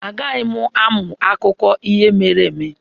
Agaghị m amụ akụkọ ihe mere eme.